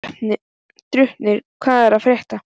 Draupnir, hvað er að frétta?